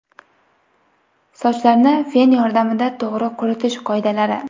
Sochlarni fen yordamida to‘g‘ri quritish qoidalari.